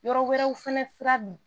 Yɔrɔ wɛrɛw fɛnɛ sira be yen